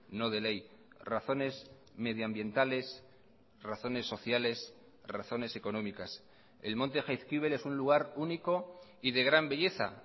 no de ley razones medioambientales razones sociales razones económicas el monte jaizkibel es un lugar único y de gran belleza